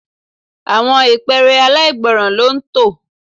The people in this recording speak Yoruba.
Àwọn ìpẹ́ẹ́rẹ́ aláìgbọ́ràn ló ń tọ.